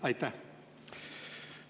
Aitäh!